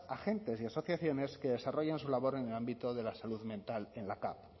agentes y asociaciones que desarrollan su labor en el ámbito de la salud mental en la cav